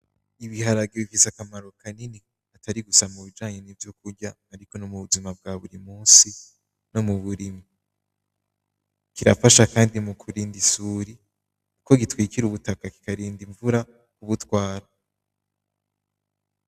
Ibiharage bifise akamaro kanini atari gusa mubijanye nivyo kurya ariko nom'ubuzima bwa buri munsi, nom'uburimyi birafasha kandi mu kurinda isuri kuko bitwikira ubutaka bikarinda imvura kubutwara.